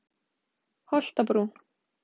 Holtabrún